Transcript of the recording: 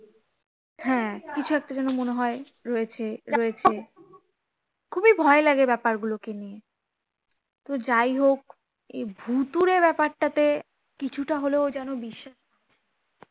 কিছু একটা যে ন মনে হয় রয়েছে রয়েছে, খুবই ভয় লাগে ব্যাপার গুলোকে নিয়ে তো যাই হোক, এই ভুতুরে ব্যাপারটাতে কিছুটা হলেও যেন বিশ্বাস আছে,